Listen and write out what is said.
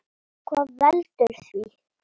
Hvað veldur því?